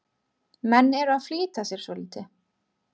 Menn eru að flýta sér svolítið.